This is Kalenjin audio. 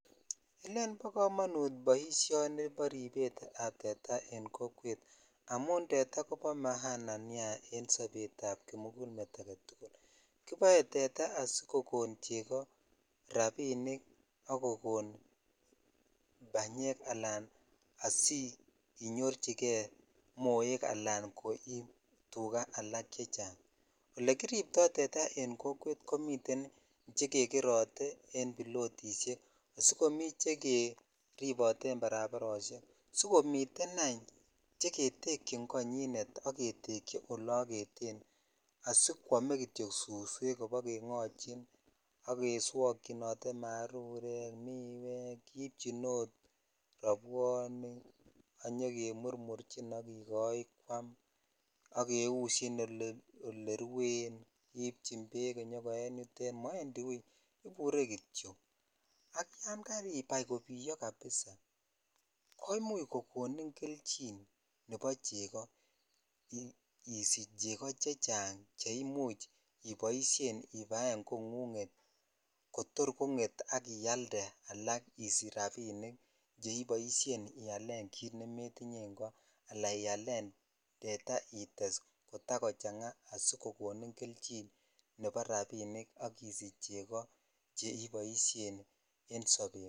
Elen bo komonut boisioni ni bo rebet ab teta amun tetaa kobo maaana niea en sobrt ab kimongol met agetu kiboe komiten asikokon rabinik ak kokon banyek anam sinyochi kei moek alsn kosich tukaa alak olekiribto tetaa ekn kokwet nietem hekerote en bilotishek chekiribote en barabsrs sikomiten any Cheketkyin konyinek sk kekyi ola arise